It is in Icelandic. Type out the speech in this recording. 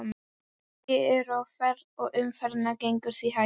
Margir eru á ferð og umferðin gengur því hægt.